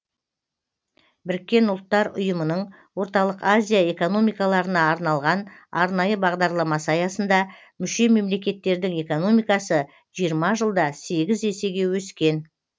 біріккен ұлттар ұйымының орталық азия экономикаларына арналған арнайы бағдарламасы аясында мүше мемлекеттердің экономикасы жиырма жылда сегіз есеге өскен